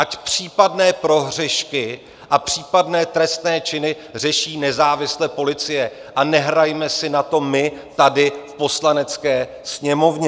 Ať případné prohřešky a případné trestné činy řeší nezávisle policie a nehrajme si na to my tady v Poslanecké sněmovně.